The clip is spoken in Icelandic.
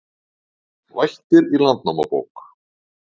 Vættir í Landnámabók